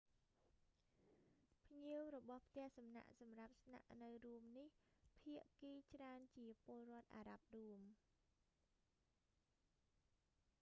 ភ្ញៀវរបស់ផ្ទះសំណាក់សម្រាប់ស្នាក់នៅរួមនេះ ភាគីច្រើនជាពលរដ្ឋអារ៉ាប់រួម